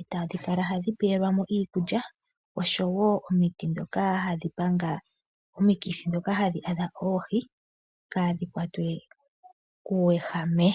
otadhikala hadhipelwamo iikulya oshowo omiti dhoka hadhipanga omikithi dhoka hadhi adha oohii kadhikwatwe kuwehame.